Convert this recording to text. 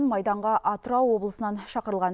майданға атырау облысынан шақырылған